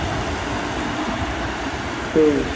তেইশ